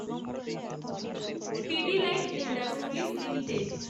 Pidilite industries limited